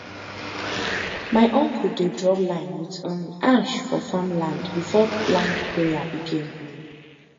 my uncle dey draw line with um ash for farm land before land prayer begin um